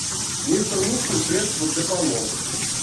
мистер мускул средство для полов